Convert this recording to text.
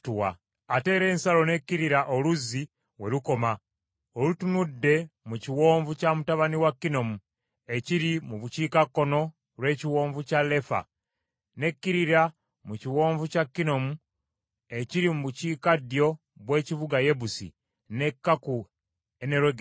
Ate era ensalo n’ekkirira olusozi we lukoma, olutunudde mu kiwonvu kya mutabani wa Kinomu ekiri mu bukiikakkono lw’ekiwonvu kya Lefa, n’ekkirira mu kiwonvu kya Kinomu ekiri mu bukiikaddyo bw’ekibuga Yebusi, n’ekka ku Enerogeri.